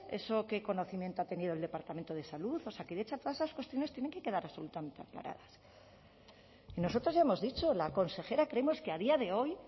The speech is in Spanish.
eso qué conocimiento ha tenido el departamento de salud osakidetza todas esas cuestiones tienen que quedar absolutamente aclaradas y nosotros ya hemos dicho la consejera creemos que a día de hoy